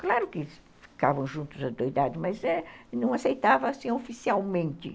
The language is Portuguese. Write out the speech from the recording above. Claro que ficavam juntos adoidado, mas não aceitava oficialmente.